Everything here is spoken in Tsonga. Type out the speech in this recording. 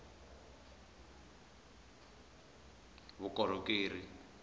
vukorhokeri